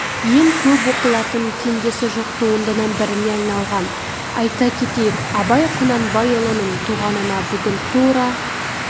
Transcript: ең көп оқылатын теңдесі жоқ туындының біріне айналған айта кетейік абай құнанбайұлының туғанына бүгін тура